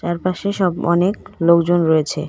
চারপাশে সব অনেক লোকজন রয়েছে.